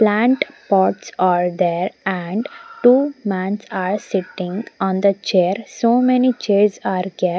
plant pots are there and two mans are sitting on the chair so many chairs are kept.